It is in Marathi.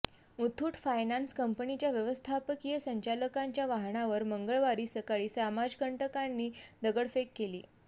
मुथ्थूट फायनान्स कंपनीच्या व्यवस्थापकीय संचालकांच्या वाहनावर मंगळवारी सकाळी समाजकंटकांनी दगडफेक केली